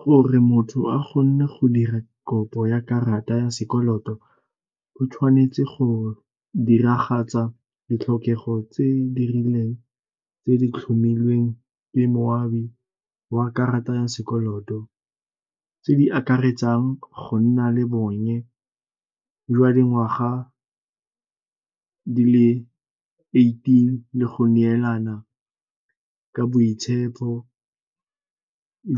Gore motho a gonne go dira kopo ya karata ya sekoloto o tshwanetse go diragatsa ditlhokego tse di rileng tse di tlhomilweng ke moabi wa karata ya sekoloto, tse di akaretsang go nna le bonnye jwa dingwaga di le eighteen le go neelana ka boitshepo